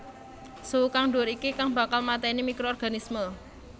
Suhu kang dhuwur iki kang bakal mateni microorganisme